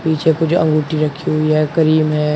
नीचे कुछ अंगूठी रखी हुई है क्रीम है।